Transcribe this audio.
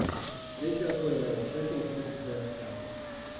встреча апл шеффилд против вест хэма